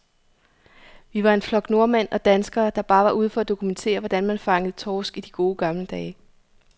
Vi var en flok nordmænd og danskere, der bare var ude for at dokumentere, hvordan man fangede torsk i de gode, gamle dage.